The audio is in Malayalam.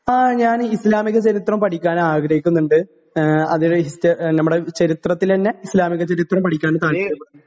ങാ..ഞാൻ ഇസ്ലാമിക പഠിക്കാൻ .ആഗ്രഹിക്കുന്നുണ്ട്.നമ്മുടെ ചരിത്രത്തിലെ തന്നെ ഇസ്ലാമിക ചരിത്രം പഠിക്കാൻ താല്പര്യപ്പെടുന്നുണ്ട്.